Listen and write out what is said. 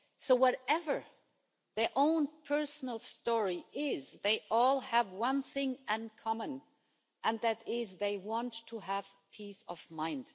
So whatever their own personal story is, they all have one thing in common, and that is they want to have peace of mind.